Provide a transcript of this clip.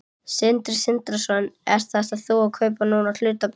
Sindri Sindrason: Ert þú að kaupa núna hlutabréf?